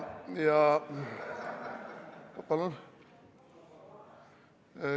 Palun?